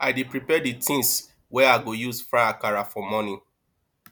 i dey prepare the things wey i go use fry akara for morning